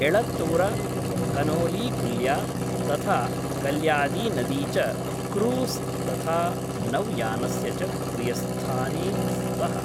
एळतूर, कनोलीकुल्या, तथा कल्लायीनदी च क्रूस् तथा नौयानस्य च प्रियस्थाने स्तः।